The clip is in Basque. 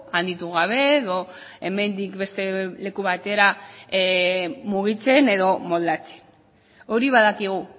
handitu gabe edo hemendik beste leku batera mugitzen edo moldatzen hori badakigu